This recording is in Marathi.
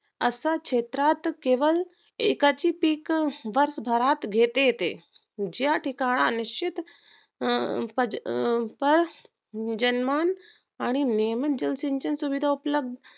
असंच क्षेत्रात केवळ एकाची पीक वर्ष भरात घेता येते ज्या ठिकाणी निश्चित अं पज अं पर्स जनमान आणि नेहमी जलसंचन सुविधा उपलब्ध